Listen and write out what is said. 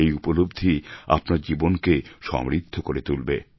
এই উপলব্ধি আপনার জীবনকে সমৃদ্ধ করে তুলবে